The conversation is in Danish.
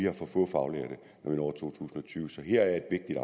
når to tusind og tyve så her er et